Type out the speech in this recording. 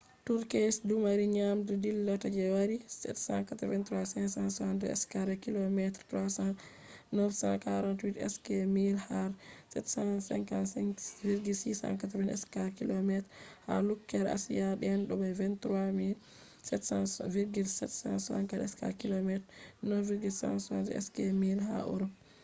turkeys dumari ndiyam dillata je yari783,562 square kilometres300,948 sq mi har 755,688 square kilometres ha lukkere asia den bo23,764 square kilometer 9,174 sq mi ha europe